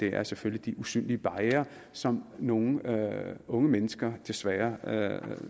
er selvfølgelig de usynlige barrierer som nogle unge mennesker desværre